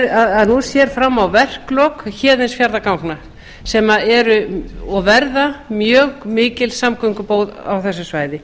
að nú sér fram á verklok héðinsfjarðarganga sem eru og verða mjög mikil samgöngubót á þessu svæði